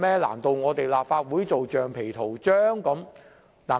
難道立法會要做橡皮圖章？